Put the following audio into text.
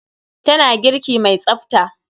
Tana girki mai tsafta.